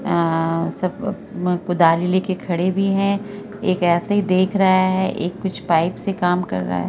अ सब म कुदाली लेके खड़े भी हैं एक ऐसे ही देख रहा है| एक कुछ पाइप से काम कर रहा है।